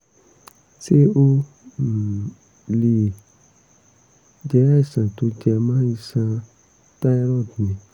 ṣé ó um lè jẹ́ àìsàn tó jẹmọ́ iṣan thyroid ni?